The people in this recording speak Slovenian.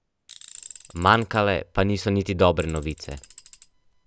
Manjkale pa niso niti dobre novice.